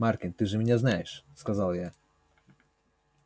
маркин ты же меня знаешь сказал я